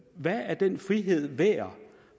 hvad er den frihed værd